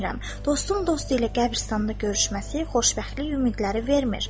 Dostun dostu ilə qəbiristanda görüşməsi xoşbəxtlik ümidləri vermir.